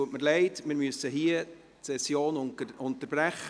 Es tut mir leid, wir müssen die Session hier unterbrechen.